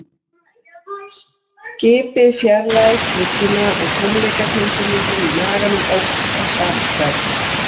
Skipið fjarlægðist bryggjuna og tómleikatilfinningin í maganum óx að sama skapi.